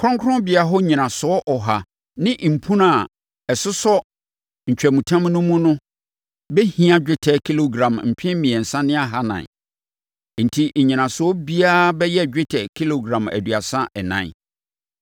Kronkronbea hɔ nnyinasoɔ ɔha ne mpunan a ɛsosɔ ntwamutam no mu no bɛhia dwetɛ kilogram mpem mmiɛnsa ne ahanan. Enti nnyinasoɔ biara bɛyɛ dwetɛ kilogram aduasa ɛnan.